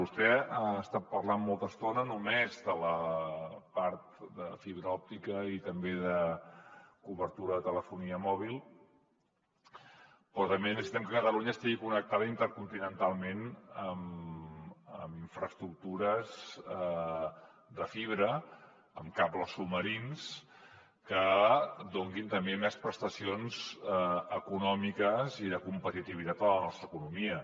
vostè ha estat parlant molta estona només de la part de fibra òptica i també de cobertura de telefonia mòbil però també necessitem que catalunya estigui connectada intercontinentalment amb infraestructures de fibra amb cables submarins que donin també més prestacions econòmiques i de competitivitat a la nostra economia